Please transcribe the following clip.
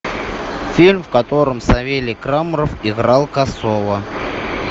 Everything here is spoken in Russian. фильм в котором савелий краморов играл косого